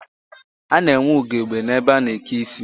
A na-enwe ugegbe n'ebe a na-eke isi